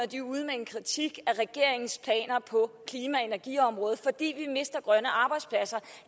de er ude med en kritik af regeringens planer på klima og energiområdet fordi vi mister grønne arbejdspladser